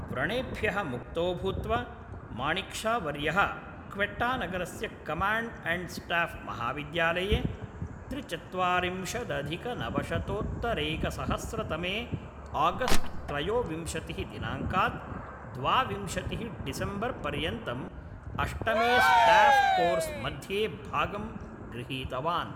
व्रणेभ्यः मुक्तो भूत्वा, माणिक् शावर्यः क्वेट्टानगरस्य कमाण्ड् अण्ड् स्टाफ् महाविद्यालये त्रिचत्वारिंशदधिकनवशतोत्तरैकसहस्रतमे आगस्ट् त्रयोविंशतिः दिनाङ्कात् द्वाविंशतिः डिसम्बर् पर्यन्तम् अष्टमे स्टाफ् कोर्स् मध्ये भागं गृहीतवान्।